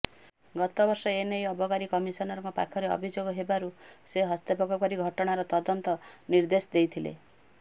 ଗତବର୍ଷ ଏନେଇ ଅବକାରୀ କମିସନରଙ୍କ ପାଖରେ ଅଭିଯୋଗ ହେବାରୁ ସେ ହସ୍ତକ୍ଷେପ କରି ଘଟଣାର ତଦନ୍ତ ନିଦେ୍ର୍ଧଶ ଦେଇଥିଲେ